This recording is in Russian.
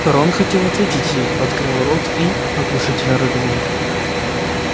рон хотел ответить ей открыл рот и оглушительно рыгнул